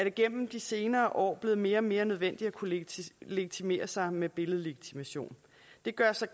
igennem de senere år blevet mere og mere nødvendigt at kunne legitimere sig med billedlegitimation det gør sig